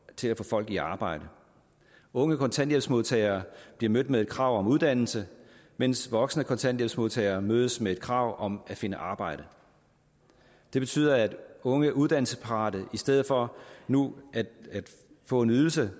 til at få folk i arbejde unge kontanthjælpsmodtagere bliver mødt med et krav om uddannelse mens voksne kontanthjælpsmodtagere mødes med et krav om at finde arbejde det betyder at unge uddannelsesparate i stedet for nu får en ydelse